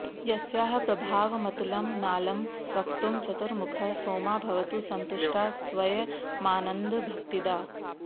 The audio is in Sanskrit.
यस्याः प्रभावमतुलं नालंवक्तुं चतुर्मुखः सोमा भवतु सन्तुष्टा स्वयमानन्द भक्तिदा